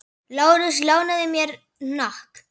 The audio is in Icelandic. Lárus lánaði mér hnakk.